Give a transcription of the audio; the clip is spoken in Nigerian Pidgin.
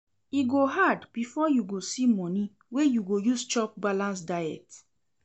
E go hard before you go see moni wey you go use chop balanced diet.